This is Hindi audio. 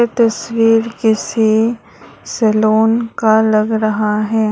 ये तस्वीर किसी सैलून का लग रहा है।